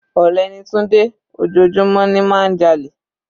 Olè ni Tunde, ojoojúmọ́ ni má ń jalè.